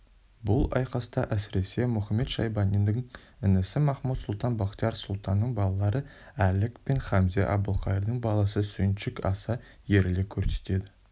бұл айқаста әсіресе мұхамед-шайбанидің інісі махмуд-сұлтан бахтияр сұлтанның балалары әлік пен хамзе әбілқайырдың баласы сүйіншік аса ерлік көрсетеді